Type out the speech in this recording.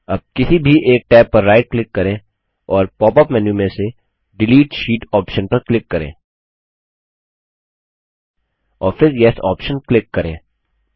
अब किसी भी एक टैब पर राइट क्लिक करें और पॉप अप मेन्यू में से डिलीट शीट ऑप्शन पर क्लिक करें और फिर येस ऑप्शन क्लिक करें